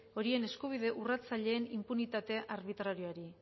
horien eskubide urratzaileen inpunitate arbitrarioari